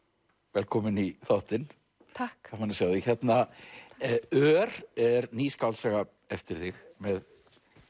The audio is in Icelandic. velkomin í þáttinn takk gaman að sjá þig ör er ný skáldsaga eftir þig með